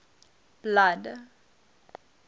blood